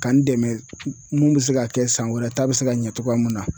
Ka n dɛmɛ mun bɛ se k'a kɛ san wɛrɛ ta bɛ se ka ɲɛ cogoya min na.